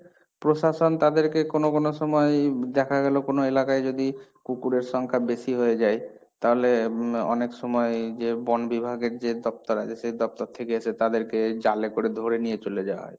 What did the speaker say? প্রশাসন তাদেরকে কোন কোন সময়ই দেখা গেল কোন এলাকায় যদি কুকুরের সংখ্যা বেশি হয়ে যায়, তাহলে অনেক সময় যে বনবিভাগের যে দপ্তর আছে, সেই দপ্তর থেকে এসে তাদেরকে জালে করে ধরে নিয়ে চলে যাওয়া হয়।